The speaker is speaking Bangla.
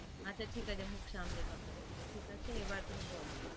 আচ্ছা ঠিক আছে মুখ সামলে কথা বলবো ঠিক আছে এবার তুমি বলো